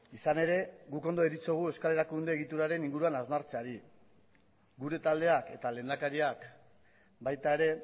izan ere guk ondo deritzogu euskal erakunde egituraren inguruan hausnartzeari gure taldeak eta lehendakariak baita ere